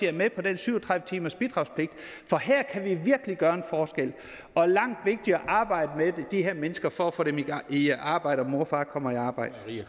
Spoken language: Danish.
er med på den syv og tredive timersbidragspligt for her kan vi virkelig gøre en forskel og langt vigtigere arbejde med de her mennesker for at få dem i arbejde og mor og far kommer i arbejde